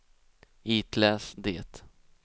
itläs det